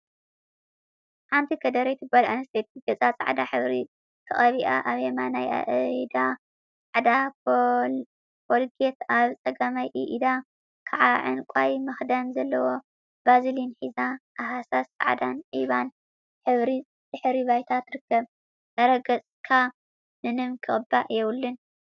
ሓንቲ ከደረይቲ ጋል ኣንስተይቲ ገጻ ጻዕዳ ሕብሪ ተቀቢኣ ኣብ የማናይ ኣኢዳ ጻዕዳ ኮልጌት ኣብ ጸጋማይ ኣኢዳ ከዓ ዕንቃይ መክደን ዘለዎ ቫዝሊን ሒዛ ኣብ ሃሳስ ጻዕዳን ዒባን ሕብሪ ድሕረ ባይታ ትርከብ። ኣረ ገጽካ ምንም ክቅባእ የብሉን።